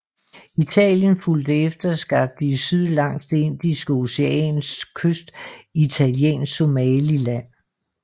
Italien fulgte efter og skabte i syd langs Det Indiske Oceans kyst Italiensk Somaliland